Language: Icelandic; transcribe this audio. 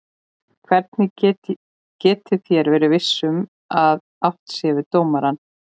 Hvernig getið þér verið viss um að átt sé við dómarann?